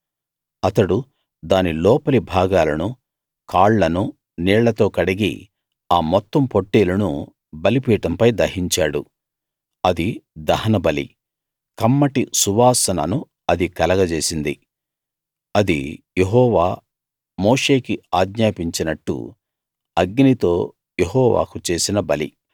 అతడు దాని లోపలి భాగాలనూ కాళ్ళనూ నీళ్ళతో కడిగి ఆ మొత్తం పొట్టేలును బలిపీఠంపై దహించాడు అది దహనబలి కమ్మటి సువాసనను అది కలగజేసింది అది యెహోవా మోషేకి ఆజ్ఞాపించినట్టు అగ్నితో యెహోవాకు చేసిన బలి